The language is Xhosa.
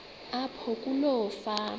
apho kuloo fama